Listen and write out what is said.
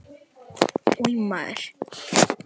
Einmanakenndin umlukti mig og ég lét mig falla í gólfið.